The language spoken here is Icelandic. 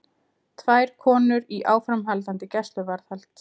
Tvær konur í áframhaldandi gæsluvarðhald